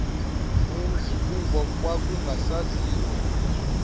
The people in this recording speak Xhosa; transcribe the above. umzi kuba kwakungasaziwa